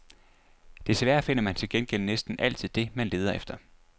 Desværre finder man til gengæld næsten altid det, man leder efter.